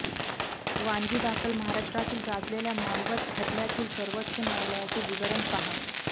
वानगीदाखल महाराष्ट्रातील गाजलेल्या मानवत खटल्यातील सर्वोच्च न्यायालयाचे विवरण पहा